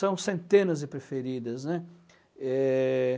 São centenas de preferidas, né. Eh...